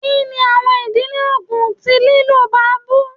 Kini awọn idi oogun ti lilo baobab?